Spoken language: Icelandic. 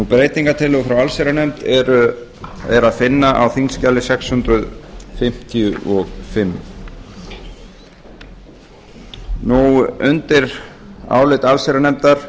breytingartillögu frá allsherjarnefnd er að finna á þingskjali sex hundruð fimmtíu og fimm undir álit allsherjarnefndar